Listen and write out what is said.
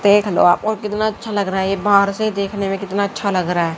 देख लो आप कितना और अच्छा लग रहा है ये बाहर से ही देखने मे कितना अच्छा लग रहा है।